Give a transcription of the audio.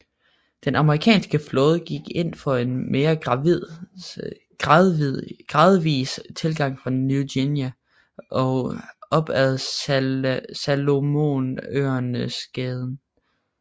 Den amerikanske flåde gik ind for en mere gradvis tilgang fra Ny Guinea og op ad Salomonøerneskæden